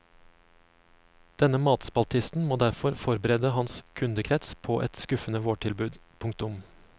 Denne matspaltisten må derfor forberede hans kundekrets på et skuffende vårtilbud. punktum